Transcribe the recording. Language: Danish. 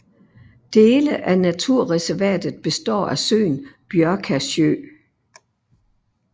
Dele af naturreservatet består af søen Bjørkasjø